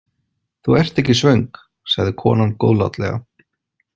Þú ert ekki svöng, sagði konan góðlátlega.